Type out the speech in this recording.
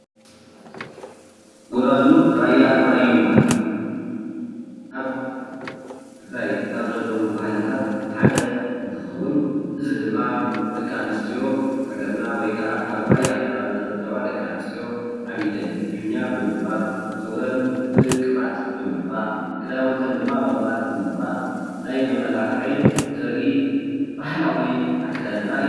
ጎራዙ ራያ ራዩማ ኣብ ትግራይ ካብ ዘለው ባህልታት ሓደ እንትከውን እዚ ድማ ደቂ ኣንስትዮ ሃገርና ወይከዓ ኣብ ራያ ከባቢ ዝርከባ ደቂ ኣንስትዮ ኣብ ኢደን ሒና ብምግባር፣ ፀጉረን ቅብኣት ብምቅባእ ፣ክዳውንተን ድማ ብቅብኣት ብምቅባእ ናይ መማላክዒ ዘሪኢ ባህላዊ ኣከዳድና እዩ፡፡